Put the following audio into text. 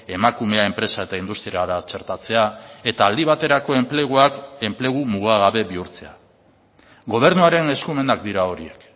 emakumea enpresa eta industriara txertatzea eta aldi baterako enpleguak enplegu mugagabe bihurtzea gobernuaren eskumenak dira horiek